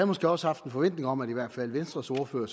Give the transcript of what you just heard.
måske også haft en forventning om at i hvert fald venstres ordfører